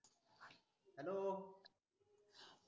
hello